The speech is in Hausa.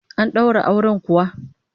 An daura auren kuwa?